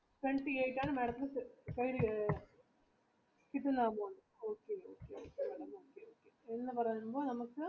wenty eight ആണ് madam ത്തിന് കിട്ടുന്നത് നമ്മുക്ക്